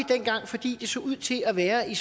fordi det dengang så ud til at være i